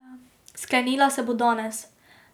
Sklenila se bo danes.